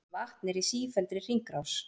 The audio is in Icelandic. Vatn er í sífelldri hringrás.